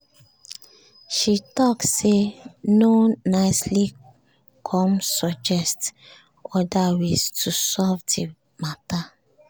she talk say no nicely come suggest other ways to solve the matter